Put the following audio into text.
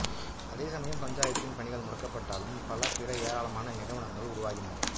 அதே சமயம் பஞ்சாயத்தின் பணிகள் முடக்கப்பட்டாலும் பல பிற ஏராளமான நிறுவனங்கள் உருவாகின